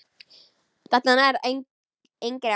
Þetta nær engri átt.